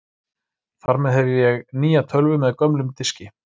Þar með hef ég nýja tölvu með gömlum diski.